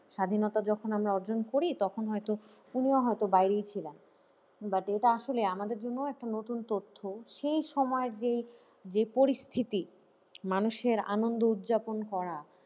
স্বাধীনতা যখন আমি অর্জন করি তখন হয়তো উনিও হয়তো বাইরেই ছিলেন but এটা আসলে আমাদের জন্যও একটা নতুন তথ্য সেই সময়ের যে যে পরিস্থিতি মানুষের আনন্দ উদযাপন করা,